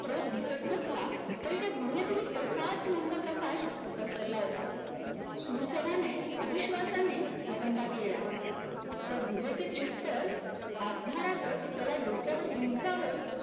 स्रोत दिसत नसला तरी त्या गूहेतही तसाच मंद प्रकाश पसरला होता शूरसेनाने अविश्वासाने आवंढा गिळला त्या गुहेचे छप्पर आधारातच त्याला डोक्यावर उंचावर